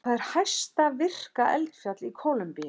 Það er hæsta virka eldfjall í Kólumbíu.